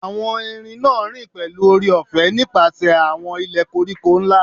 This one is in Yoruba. Awọn erin naa rin pẹlu oore-ọfẹ nipasẹ awọn ilẹ koriko nla